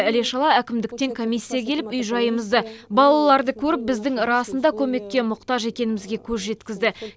іле шала әкімдіктен комиссия келіп үй жайымызды балаларды көріп біздің расында көмекке мұқтаж екенімізге көз жеткізді